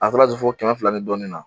A taara se fɔ kɛmɛ fila ni dɔɔni na.